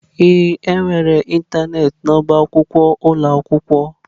Ee, enwere ịntanetị n'ọba akwụkwọ ụlọ akwụkwọ.